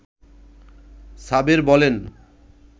সাবের বলেন